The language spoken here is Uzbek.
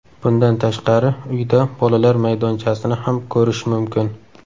Bundan tashqari uyda bolalar maydonchasini ham ko‘rish mumkin.